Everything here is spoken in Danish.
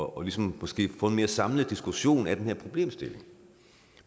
og ligesom måske få en mere samlet diskussion af den her problemstilling